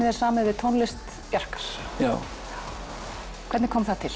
er samið við tónlist Bjarkar já hvernig kom það til